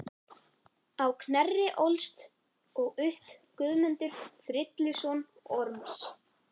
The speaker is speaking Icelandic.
Á Knerri ólst og upp Guðmundur, frilluson Orms.